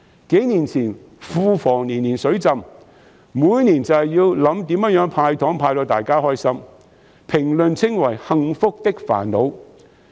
數年前，庫房年年"水浸"，每年都要研究如何"派糖"才能令大家開心，被評為"幸福的煩惱"。